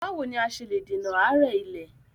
Báwo ni a ṣe lè dènà àárẹ̀ ilẹ̀?